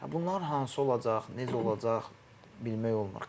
Bunlar hansı olacaq, necə olacaq bilmək olmur.